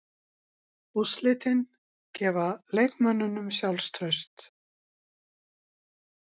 Úrslitin gefa leikmönnunum sjálfstraust.